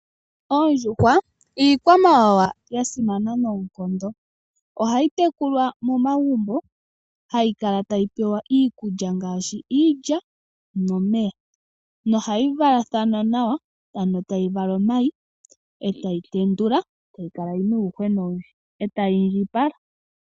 Oondjuhwa iikwamawawa ya simana noonkondo. Ohayi tekulwa momagumbo, hayi kala tayi pewa iikulya ngashi iilya nomeya. Ohadhi valathana nawa, ano tadhi vala omayi, etadhi tendula, etayi kala yina uuhwena owundji, etadhi iindjipala.